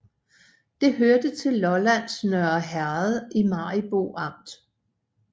Det hørte til Lollands Nørre Herred i Maribo Amt